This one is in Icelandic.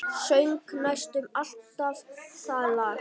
Söng næstum alltaf það lag.